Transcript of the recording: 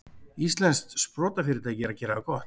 Íslenskt sprotafyrirtæki að gera það gott